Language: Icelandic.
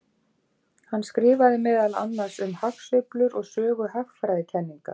Hann skrifaði meðal annars um hagsveiflur og sögu hagfræðikenninga.